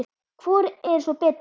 Hvor er svo betri?